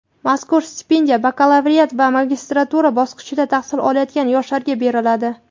mazkur stipendiya bakalavriat va magistratura bosqichida tahsil olayotgan yoshlarga beriladi.